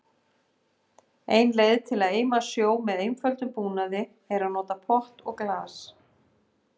Ein leið til að eima sjó með einföldum búnaði er að nota pott og glas.